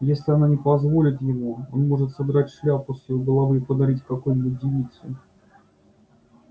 если она не позволит ему он может содрать шляпку с её головы и подарить какой-нибудь девице